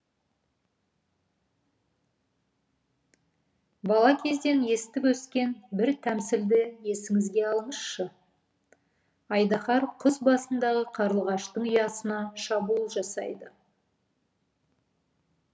бала кезден естіп өскен бір тәмсілді есіңізге алыңызшы айдаһар құз басындағы қарлығаштың ұясына шабуыл жасайды